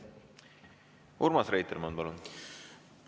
Urmas Reitelmann, palun!